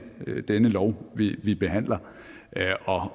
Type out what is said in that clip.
denne lov vi behandler